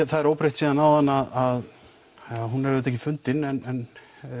það er óbreytt síðan áðan að hún er auðvitað ekki fundin en